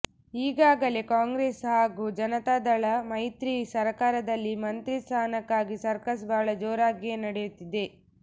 ಈಗಾಗಲೇ ಕಾಂಗ್ರೆಸ್ ಹಾಗೂ ಜನತಾದಳ ಮೈತ್ರಿ ಸರ್ಕಾರದಲ್ಲಿ ಮಂತ್ರಿ ಸ್ಥಾನಕ್ಕಾಗಿ ಸರ್ಕಸ್ ಬಹಳ ಜೋರಾಗಿಯೇ ನಡೆಯುತ್ತಿದೆ